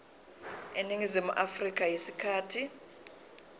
eningizimu afrika isikhathi